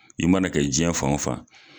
I mana kɛ jiyɛn fan o fan.